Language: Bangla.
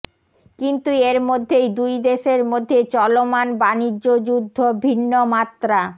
কিন্তু এর মধ্যেই দুই দেশের মধ্যে চলমান বাণিজ্যযুদ্ধ ভিন্ন মাত্রা